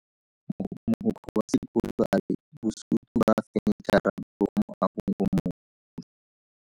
Mogokgo wa sekolo a re bosutô ba fanitšhara bo kwa moagong o mošwa.